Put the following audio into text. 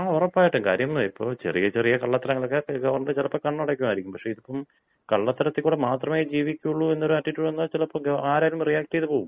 ആ ഉറപ്പായിട്ടും. കാര്യം ഇപ്പോ ചെറിയ ചെറിയ കള്ളത്തരങ്ങളൊക്കെ ഗവർണർ ചിലപ്പോൾ കണ്ണടയ്ക്കുമായിരിക്കും. ഇതിപ്പം കള്ളത്തരത്തിൽ കൂടെ മാത്രമേ ജീവിക്കുള്ളൂ എന്നൊരു ആറ്റിറ്റ്യൂഡ് വന്നാൽ ചിലപ്പോ ഗവർണർ ആരായാലും റിയാക്ട് ചെയ്ത് പോകും.